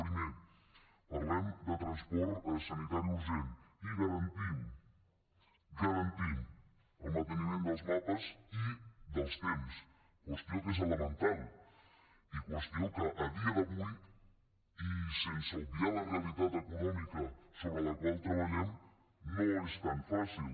primer parlem de transport sanitari urgent i garantim garantim el manteniment dels mapes i dels temps qüestió que és elemental i qüestió que a dia d’avui i sense obviar la realitat econòmica sobre la qual treballem no és tan fàcil